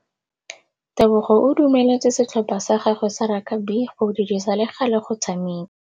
Tebogô o dumeletse setlhopha sa gagwe sa rakabi go dirisa le galê go tshameka.